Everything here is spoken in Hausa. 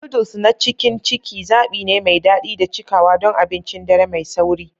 Noodles na cikin ciki zaɓi ne mai daɗi da cikawa don abincin dare mai sauri.